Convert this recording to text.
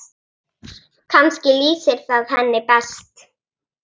Kannski lýsir það henni best.